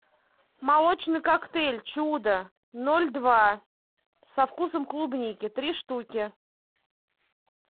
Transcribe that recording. молочный коктейль чудо ноль два со вкусом клубники три штуки